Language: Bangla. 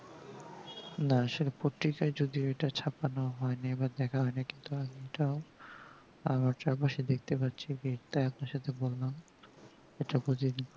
না আসোলে পত্রিকায় যদিও এটা চাপানো হয়নি বা দেখা হয়নি কিন্তু আমি তাও আমি চারপাশে দেখতে পাচ্ছি এটা যেটা আপনার সাথে বললাম ওটা বলিনি